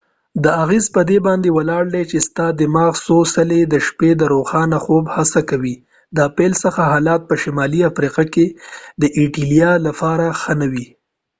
دا اغیز په دي باندي ولاړ دي چې ستا دماغ څو څلی د شپې د روښانه خوب هڅه کوي د پیل څخه حالات په شمالی افریقا کې د ایټالی لپاره ښه نه و